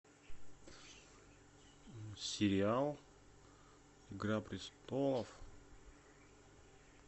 сериал игра престолов